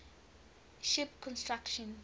ship construction